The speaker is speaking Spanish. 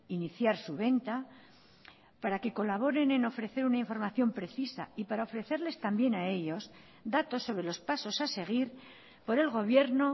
iniciar su venta para que colaboren en ofrecer una información precisa y para ofrecerles también a ellos datos sobre los pasos a seguir por el gobierno